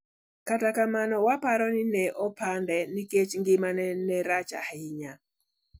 Kata kamano, waparo ni ne opande nikech ngimane ne rach ahinya. '